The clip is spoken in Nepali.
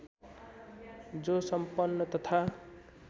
जो सम्पन्न तथा